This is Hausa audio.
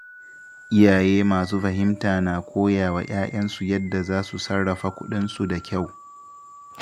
Iyaye masu fahimta na koya wa ‘ya’yansu yadda za su sarrafa kuɗinsu da kyau.